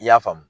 I y'a faamu